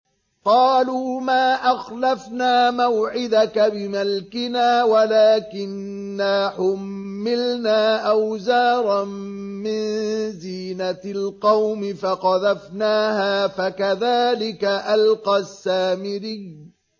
قَالُوا مَا أَخْلَفْنَا مَوْعِدَكَ بِمَلْكِنَا وَلَٰكِنَّا حُمِّلْنَا أَوْزَارًا مِّن زِينَةِ الْقَوْمِ فَقَذَفْنَاهَا فَكَذَٰلِكَ أَلْقَى السَّامِرِيُّ